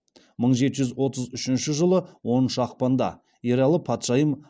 мың жеті жүз отыз үшінші жылы оныншы ақпанда ералы патшайым